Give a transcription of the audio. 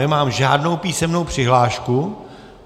Nemám žádnou písemnou přihlášku.